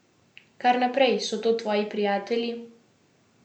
Kar naprej, so to tvoji prijatelji?